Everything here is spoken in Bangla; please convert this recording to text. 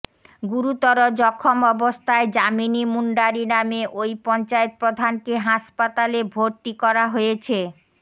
গুরুতর জখম অবস্থায় যামিনী মুন্ডারী নামে ওই পঞ্চায়েত প্রধানকে হাসপাতালে ভরতি করা হয়েছে